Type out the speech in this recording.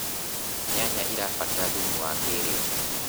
nyanya irabatara thumu wa kĩiriu